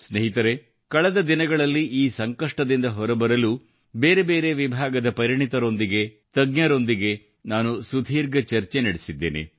ಸ್ನೇಹಿತರೆ ಕಳೆದ ದಿನಗಳಲ್ಲಿ ಈ ಸಂಕಷ್ಟದಿಂದ ಹೊರಬರಲು ಬೇರೆ ಬೇರೆ ವಿಭಾಗದ ಪರಿಣಿತರೊಂದಿಗೆ ತಜ್ಞರೊಂದಿಗೆ ನಾನು ಸುದೀರ್ಘ ಚರ್ಚೆ ನಡೆಸಿದ್ದೇನೆ